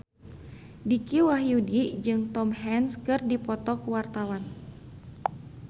Dicky Wahyudi jeung Tom Hanks keur dipoto ku wartawan